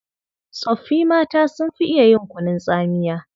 Tsoffi mata sun fi iya yin kunun tsamiya.